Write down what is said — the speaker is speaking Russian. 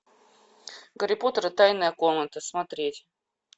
гарри поттер и тайная комната смотреть